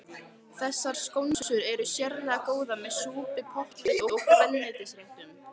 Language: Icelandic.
Þessar skonsur eru sérlega góðar með súpum, pottréttum og grænmetisréttum.